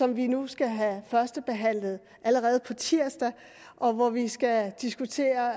vi nu skal have førstebehandlet allerede på tirsdag og hvor vi skal diskutere